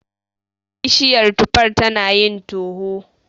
Bishiyar tufar tanayin toho.